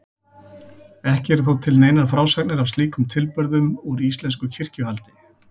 Ekki eru þó til neinar frásagnir af slíkum tilburðum úr íslensku kirkjuhaldi.